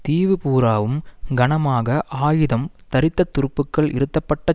தீவு பூராவும் கனமாக ஆயுதம் தரித்த துருப்புக்கள் இருத்தப்பட்ட